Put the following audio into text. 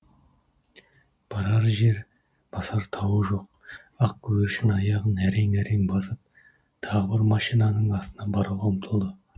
барар жер басар тауы жоқ ақ көгершін аяғын әрең әрең басып тағы бір машинаның астына баруға ұмтылды